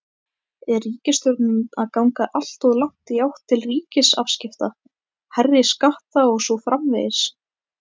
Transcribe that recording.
Er ríkisstjórnin að ganga alltof langt í átt til ríkisafskipta, hærri skatta og svo framvegis?